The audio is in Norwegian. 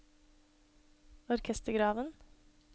orkestergraven